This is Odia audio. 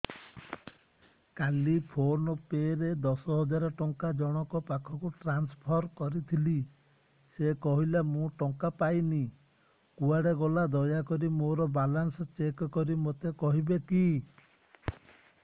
କାଲି ଫୋନ୍ ପେ ରେ ଦଶ ହଜାର ଟଙ୍କା ଜଣକ ପାଖକୁ ଟ୍ରାନ୍ସଫର୍ କରିଥିଲି ସେ କହିଲା ମୁଁ ଟଙ୍କା ପାଇନି କୁଆଡେ ଗଲା ଦୟାକରି ମୋର ବାଲାନ୍ସ ଚେକ୍ କରି ମୋତେ କହିବେ କି